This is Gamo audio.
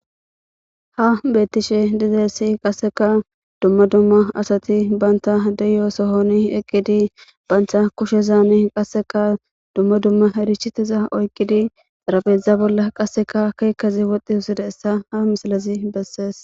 Ha beettishe dizeessi qasseka dumma dumma asati baynta deyo sohoni eqqidi baynta kushe zaani qasseka dumma dumma erichiteza oyqidi xarabeedzdza bolla qasseka keekazi woxxi husida essa ha misalazi bessees